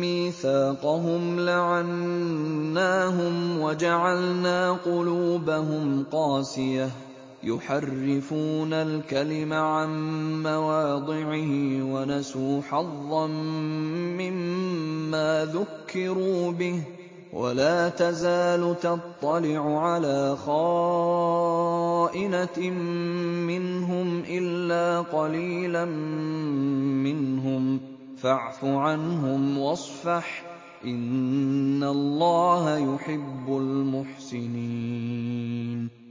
مِّيثَاقَهُمْ لَعَنَّاهُمْ وَجَعَلْنَا قُلُوبَهُمْ قَاسِيَةً ۖ يُحَرِّفُونَ الْكَلِمَ عَن مَّوَاضِعِهِ ۙ وَنَسُوا حَظًّا مِّمَّا ذُكِّرُوا بِهِ ۚ وَلَا تَزَالُ تَطَّلِعُ عَلَىٰ خَائِنَةٍ مِّنْهُمْ إِلَّا قَلِيلًا مِّنْهُمْ ۖ فَاعْفُ عَنْهُمْ وَاصْفَحْ ۚ إِنَّ اللَّهَ يُحِبُّ الْمُحْسِنِينَ